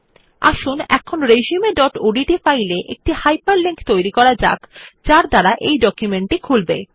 আসুন এখন resumeওডিটি ফাইলে একটি হাইপারলিংক তৈরী করা যাক যা এই ডকুমেন্ট টি খুলবে